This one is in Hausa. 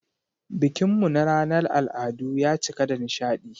Bikin mu na ranar al'adu ya cika da nishadi.